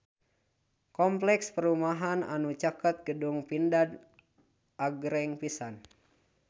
Kompleks perumahan anu caket Gedung Pindad agreng pisan